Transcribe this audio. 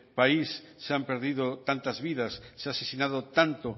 país se han perdido tantas vidas se ha asesinado tanto